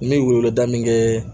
N bɛ weleweleda min kɛ